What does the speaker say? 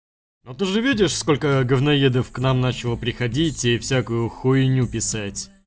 ну ты же видишь сколько говноедов к нам начало приходить и всякую хуйню писать